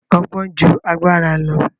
Ọgbọ́n ju agbára lọ.